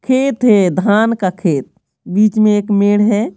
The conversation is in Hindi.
खेत है धान का खेत बीच में एक मेड़ है।